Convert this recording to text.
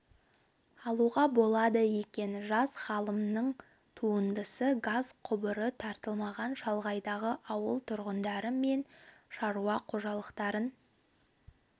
алуға болады екен жас ғалымның туындысы газ құбыры тартылмаған шалғайдағы ауыл тұрғындары мен шаруа қожалықтарын